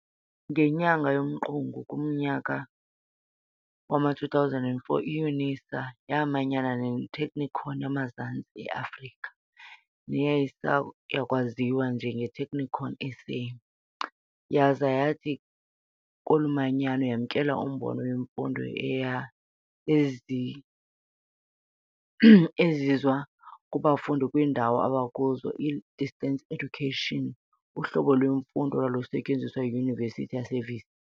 Ngenyanga yomqungu kumnyaka wama-2004, iYunisa yaamanyana neTechnikon yamaZantsi e-Afrika, neyayisayakwaziwa njengeTechnikon SA, yaza yathi kolu manyano yamkela umbono wemfundo ezizwa kubafundi kwiindawo abakuzo, i-distance education, uhlobo lwemfundo olwalusenziwa yiYunivesithi yaseVista.